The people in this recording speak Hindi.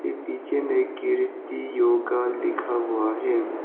पीछे में कीर्ति योग लिखा हुआ है।